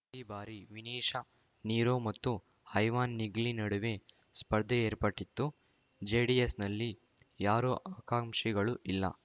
ಈ ಬಾರಿ ವಿನಿಶಾ ನಿರೋ ಮತ್ತು ಐವಾನ್‌ ನಿಗ್ಲಿ ನಡುವೆ ಸ್ಪರ್ಧೆ ಏರ್ಪಟ್ಟಿತ್ತು ಜೆಡಿಎಸ್‌ನಲ್ಲಿ ಯಾರೂ ಆಕಾಂಕ್ಷಿಗಳು ಇಲ್ಲ